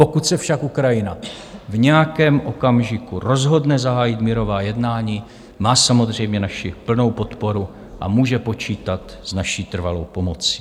Pokud se však Ukrajina v nějakém okamžiku rozhodne zahájit mírová jednání, má samozřejmě naši plnou podporu a může počítat s naší trvalou pomocí.